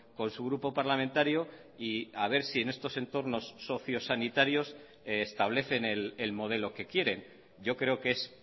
con su grupo parlamentario y a ver si en estos entornos socio sanitarios establecen el modelo que quieren yo creo que es